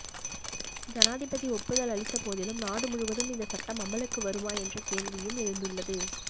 ஜனாதிபதி ஒப்புதல் அளித்த போதிலும் நாடு முழுவதும் இந்த சட்டம் அமலுக்கு வருமா என்ற கேள்வியும் எழுந்துள்ளது